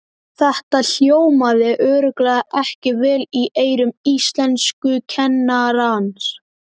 Þetta hljómaði örugglega ekki vel í eyrum íslenskukennarans!